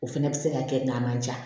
O fɛnɛ bɛ se ka kɛ n'an man ja